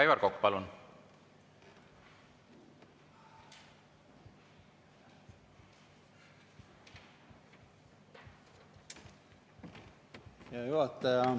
Aivar Kokk, palun!